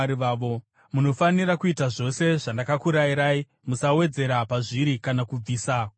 Munofanira kuita zvose zvandakakurayirai; musawedzera pazviri kana kubvisa kubva pazviri.